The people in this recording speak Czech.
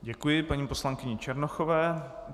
Děkuji paní poslankyni Černochové.